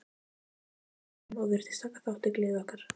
Úti skein sólin og virtist taka þátt í gleði okkar.